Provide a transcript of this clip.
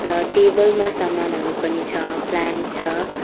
र टेबल मा सामानहरू पनि छ प्लान्ट छ।